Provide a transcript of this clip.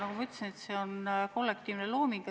Nagu ma ütlesin, see on kollektiivne looming.